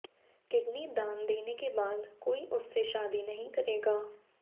kidney दान देने के बाद कोई उससे शादी नहीं करेगा